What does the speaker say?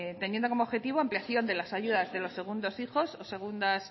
teniendo como objetivo ampliación de las ayudas de los segundas hijas e